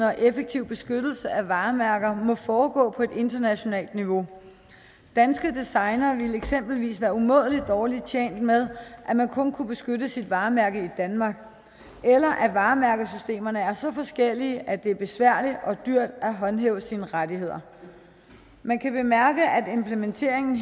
og effektiv beskyttelse af varemærker må foregå på et internationalt niveau danske designere ville eksempelvis være umådelig dårligt tjent med at man kun kunne beskytte sit varemærke i danmark eller at varemærkesystemerne er så forskellige at det er besværligt og dyrt at håndhæve sine rettigheder man kan bemærke at implementeringen